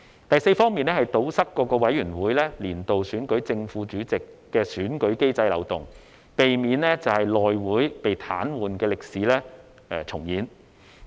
第四方面，是堵塞各委員會年度選舉正副主席的選舉機制漏洞，避免內會被癱瘓的歷史重現。